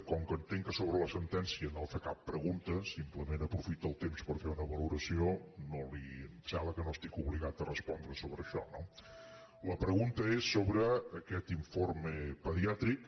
com que entenc que sobre la sentència no ha fet cap pregunta simplement aprofita el temps per fer una valoració em sembla que no estic obligat a respondre sobre això no la pregunta és sobre aquest informe pediàtric